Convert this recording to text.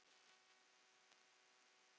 Írska blóðið?